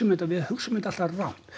þetta við hugsum þetta alltaf rangt